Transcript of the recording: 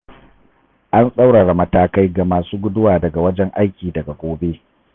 An tsaurara matakai ga masu guduwa daga wajen aiki daga gobe.